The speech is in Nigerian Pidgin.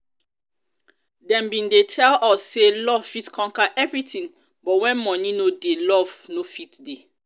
dem bin dey tell us say love fit conquer everything but when money no dey love no fit dey